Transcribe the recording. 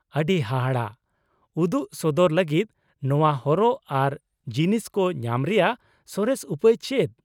ᱟᱹᱰᱤ ᱦᱟᱦᱟᱲᱟᱜ ᱾ ᱩᱫᱩᱜ ᱥᱚᱫᱚᱨ ᱞᱟᱹᱜᱤᱫ ᱱᱚᱶᱟ ᱦᱚᱨᱚᱜ ᱟᱨ ᱡᱤᱱᱤᱥ ᱠᱚ ᱧᱟᱢ ᱨᱮᱭᱟᱜ ᱥᱚᱨᱮᱥ ᱩᱯᱟᱹᱭ ᱪᱮᱫ ?